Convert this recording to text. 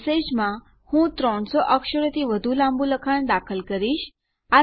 message માં હું 300 અક્ષરોથી વધારે લાંબું લખાણ દાખલ કરીશ